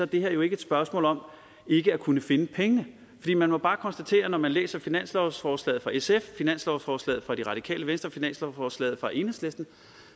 det her jo ikke et spørgsmål om ikke at kunne finde pengene man må bare konstatere når man læser finanslovsforslaget fra sf finanslovsforslaget fra det radikale venstre finanslovsforslaget fra enhedslisten